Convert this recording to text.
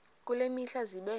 kule mihla zibe